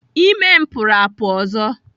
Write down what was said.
Ime m pụrụ apụ ọzọ.